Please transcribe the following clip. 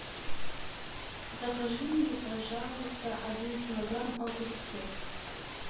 закажи мне пожалуйста один килограмм огурцов